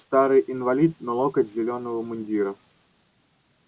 старый инвалид но локоть зелёного мундира